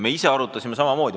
Me ise arutlesime samamoodi.